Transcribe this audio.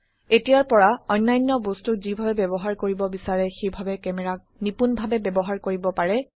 এতিয়াৰ পৰা অন্যান্য বস্তুক যিভাবে ব্যবহাৰ কৰিব বিচাৰে সেইভাবে ক্যামেৰাক নিপূণভাবে ব্যবহাৰ কৰিব পাৰে